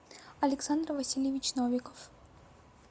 александр васильевич новиков